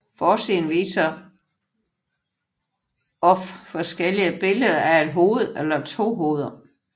Forsiden viser of forskellige billeder af et hoved eller to hoveder